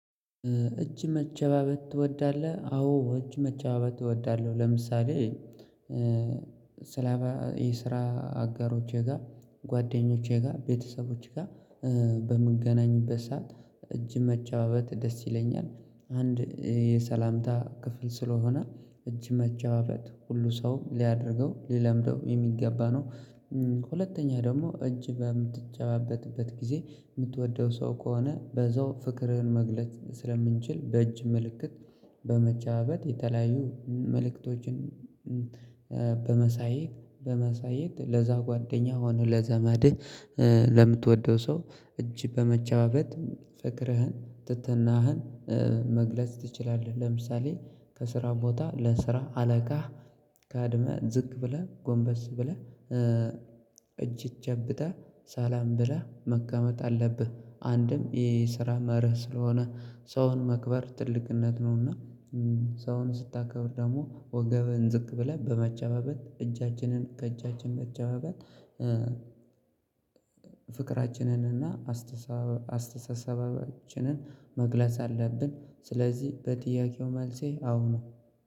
እጅ መጨባበጥ ትወዳለህ? አዎ እጅ መጨባበጥ እወዳለሁ። ለምሳሌ ስላባ የስራ አጋሮቼ ጋር ጓደኞቼ ጋር ቤተሰቦቼ ጋር በምገናኝበት ሰዓት እጅ መጨባበጥ ደስ ይለኛል አንድ የሰላምታ ክፍል ስለሆነ እጅ መጨባበጥ ሁሉ ሰው ሊያደርገው ሊለምደው የሚገባ ነው። ሁለተኛ ደግሞ እጅ በምትጨባበጥበት ጊዜ የምትወደው ሰው ከሆነ በዛው ፍቅርህን መግለጥ ስለምንችል በእጅ ምልክት በመጨባበጥ የተለያዩ መልእክቶችን በማሳየት በማሳየት ለዛ ጓደኛ ሆነ ለዘመድህ ለምትወደው ሰው እጅ በመጨባበት ፍቅርህን ትህትናህን መግለጽ ትችላለህ። ለምሳሌ ከስራ ቦታ ለስራ አለቃ ቀድመ ዝቅ ብለህ ጎንበስ ብለህ እጅ ጨብጠህ ሰላም ብለህ መቀመጥ አለብህ። አንድም ይሄ የስራ መርህ ስለሆነ ሰውን ማክበር ትልቅነት ነውና። ሰውን ስታከብር ደግሞ ወገብን ዝቅ ብለህ በመጨባበጥ እጃችንን ከእጃችን መጨባበጥ ፍቅራችንን እና አስተሳሰባችን አስተሳሰባችንን መግለጽ አለብን። ስለዚህ በጥያቄው መልሴ አዎ ነው